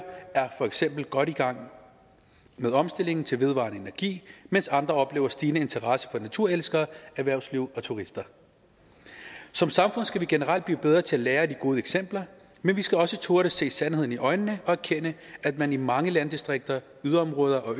er for eksempel godt i gang med omstillingen til vedvarende energi mens andre oplever stigende interesse fra naturelskere erhvervsliv og turister som samfund skal vi generelt blive bedre til at lære af de gode eksempler men vi skal også turde se sandheden i øjnene og erkende at man i mange landdistrikter yderområder og